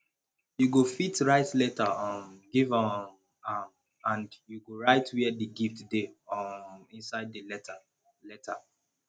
you go fit write letter um give um am and you go write where the gift dey um inside the letter letter